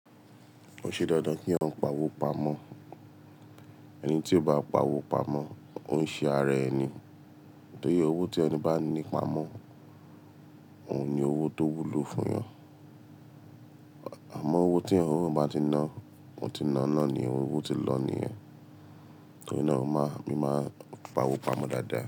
Kò ń ṣe dandan ki ìyàn pawo pamọ, ẹni ti o ba pawo pamọ o n ṣe ara ẹ ni, torí owó ti ìyàn ba ni pamọ, oun ni owó to wùlò fun yan, àmọ owó ti ọwọ ba ti ná, wọn ti nàá na ni, owó ti lọ ni yen, torí na mi ma pawo pamọ dada.